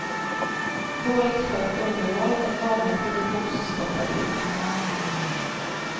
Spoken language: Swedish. Dåligt skött underhåll, med långa produktionsstopp är dyrt.